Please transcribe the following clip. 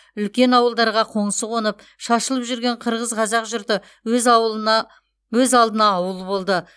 үлкен ауылдарға қоңсы қонып шашылып жүрген қырғыз қазақ жұрты өз алдына ауыл болды